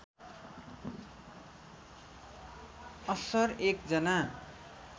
अस्सर एक जना